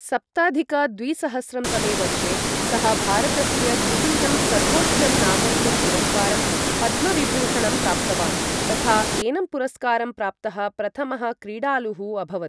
सप्ताधिक द्विसहस्रं तमे वर्षे सः भारतस्य द्वितीयं सर्वोच्चं नागरिकं पुरस्कारं, पद्मविभूषणं प्राप्तवान् तथा एनं पुरस्कारं प्राप्तः प्रथमः क्रीडालुः अभवत्।